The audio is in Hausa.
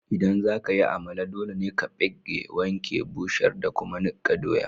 ldan zaka yi Amala, dole ne ka pegge, wanke, busher da kuma nikka doyan.